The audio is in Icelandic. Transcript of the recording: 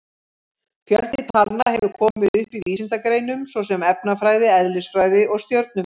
Fjöldi talna hefur komið upp í vísindagreinum svo sem efnafræði, eðlisfræði og stjörnufræði.